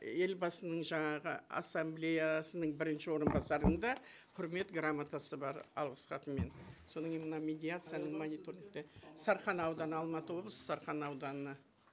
елбасының жаңағы ассамблеясының бірінші орынбасарының да құрмет грамотасы бар алғыс хатымен содан кейін мына медиацияның мониторингте сарқан ауданы алматы облысы сарқан ауданына